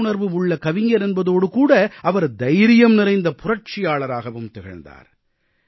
புரிந்துணர்வு உள்ள கவிஞர் என்பதோடுகூட அவர் தைரியம் நிறைந்த புரட்சியாளராகவும் திகழ்ந்தார்